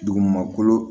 Dugumakolo